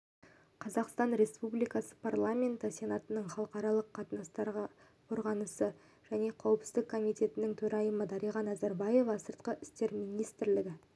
қазақстан республикасы парламенті сенатының халықаралық қатынастар қорғаныс және қауіпсіздік комитетінің төрайымы дариға назарбаева сыртқы істер министрлігі